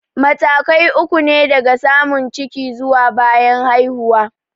Matakai uku ne daga samun ciki zuwa bayan haihuwa.